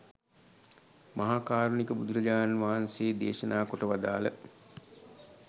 මහා කාරුණික බුදුරජාණන් වහන්සේ දේශනා කොට වදාළ